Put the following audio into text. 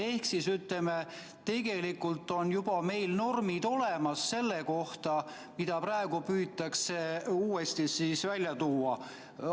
Ehk tegelikult on meil juba normid olemas selle kohta, mida praegu püütakse uuesti välja tuua.